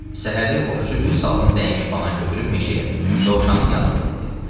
Səhəri ovçu bir salxım dəymiş banan götürüb meşəyə, dovşanın yanına getdi.